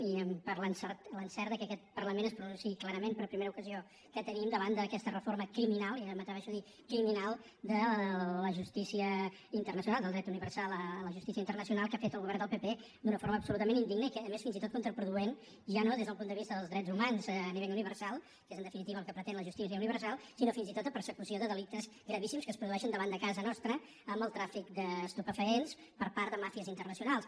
i per l’encert que aquest parlament es pronunciï clarament per primera ocasió que tenim davant d’aquesta reforma criminal jo m’atreveixo a dir criminal de la justícia internacional del dret universal a la justícia universal que ha fet el govern del pp d’una forma absolutament indigna i que és a més fins i tot contraproduent ja no des del punt de vista dels drets humans a nivell universal que és en definitiva el que pretén la justícia universal sinó fins i tot de persecució de delictes gravíssims que es produeixen davant de casa nostra amb el tràfic d’estupefaents per part de màfies internacionals